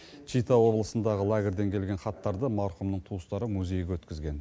чита облысындағы лагерьден келген хаттарды марқұмның туыстары музейге өткізген